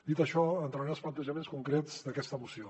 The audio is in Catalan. dit això entraré en els plantejaments concrets d’aquesta moció